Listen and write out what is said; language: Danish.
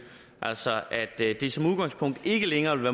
altså at det det som udgangspunkt ikke længere vil